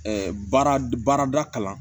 baarada kalan